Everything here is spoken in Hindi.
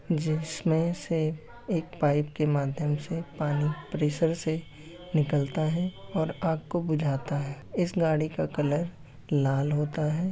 जिसमे से एक पाइप के माध्यम से पानी प्रेशर से निकलता है और आग को बुझाता है इस गाड़ी का कलर लाल होता है।